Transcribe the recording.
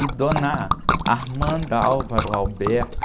E dona,